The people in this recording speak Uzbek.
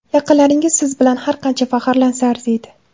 Yaqinlaringiz siz bilan har qancha faxrlansa arziydi.